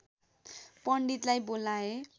पण्डितलाई बोलाए